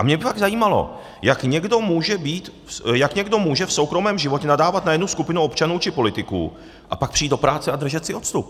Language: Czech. A mě by fakt zajímalo, jak někdo může v soukromém životě nadávat na jednu skupinu občanů či politiků a pak přijít do práce a držet si odstup.